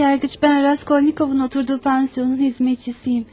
Sayın Yargıç, ben Raskolnikov'un oturduğu pansiyonun hizmetçisiyim.